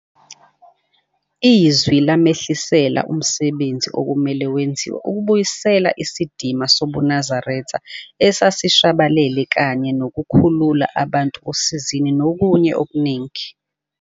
Izwi lamehlisela umsebenzi okumele wenziwe ukubuyisela isidima sobuNazaretha esesishabalele kanye nokukhulula abantu osizini nokunye okuningi.